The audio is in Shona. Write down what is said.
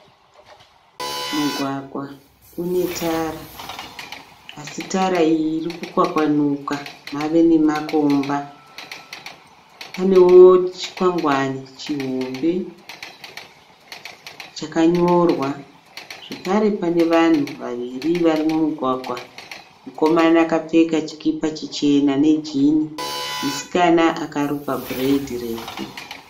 Mugwagwa unetara, asi tara iyi irikwakwanuka navenemakomba. Panewo chikwangwane chihombe, chakanyorwa. Zvakare pane vanhu vaviri varimumugwagwa, mukomana akapfeka chikipa chichena refu ne jini, musikana akarukwa bhuredhi refu.